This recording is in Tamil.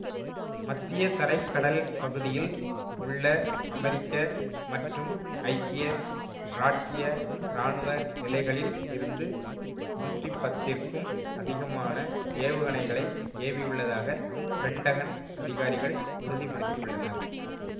மத்தியதரை கடல் பகுதியில் உள்ள அமெரிக்க மற்றும் ஐக்கிய இராச்சிய இராணுவ நிலைகளில் இருந்து நூற்றி பத்திற்கும் அதிகமான ஏவுகணைகளை ஏவியுள்ளதாக பெண்டகன் அதிகாரிகள் உறுதி படுத்தியுள்ளனர்